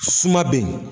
Suma bɛ yen